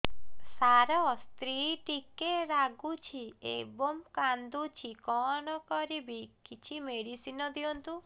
ସାର ସ୍ତ୍ରୀ ଟିକେ ରାଗୁଛି ଏବଂ କାନ୍ଦୁଛି କଣ କରିବି କିଛି ମେଡିସିନ ଦିଅନ୍ତୁ